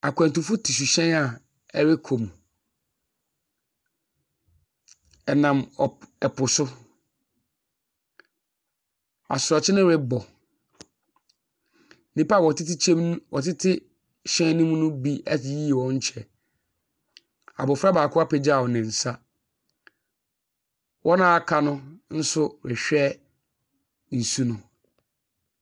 Akwantufo te suhyɛn a ɛrekɔ mu. Ɛnam ɔp ɛpo so. Asorɔkye no rekɔ. Nnipa a wɔtete kyɛmm wɔtete hyɛn no mu no bi ayiyi wɔn kyɛ. Abofra baako apagya ne nsa. Wɔn a wɔaka no nso rehwɛ nsu no.